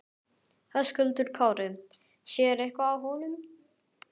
Höskuldur Kári: Sér eitthvað á honum?